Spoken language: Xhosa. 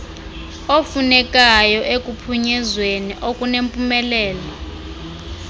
ofunekayo ekuphunyezweni okunempumelelo